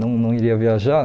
Não não iria viajar?